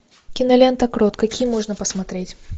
кинолента крот какие можно посмотреть